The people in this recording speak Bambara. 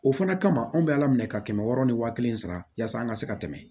O fana kama anw bɛ ala minɛ ka kɛmɛ wɔɔrɔ ni wa kelen sara yasa an ka se ka tɛmɛ